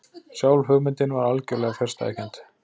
Sjálf hugmyndin var algjörlega fjarstæðukennd.